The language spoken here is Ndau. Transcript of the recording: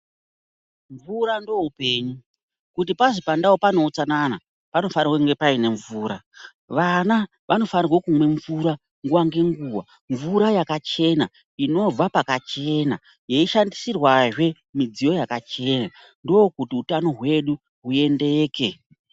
Mvura ndoupenyu, kuti pazi pandau pane utsanana , panofanirwe kuve paine mvura. Vana vanofanirwe kumwe mvura nguwa ngenguwa, mvura yakachena ,inobva pakachena, yeishandisirwazve midziyo yakachena, ndokuti hutano hwedu huendeke.